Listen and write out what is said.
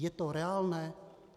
Je to reálné?